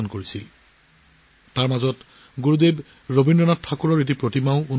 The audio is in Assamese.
ইয়াৰে এটা মূৰ্তি গুৰুদেৱ ৰবীন্দ্ৰনাথ ঠাকুৰৰো